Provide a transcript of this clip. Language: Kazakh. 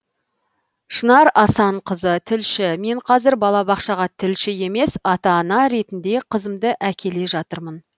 шынар асанқызы тілші мен қазір балабақшаға тілші емес ата ана ретінде қызымды әкеле жатырмын